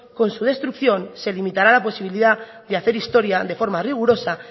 con su destrucción se limitará la posibilidad de hacer historia de forma rigurosa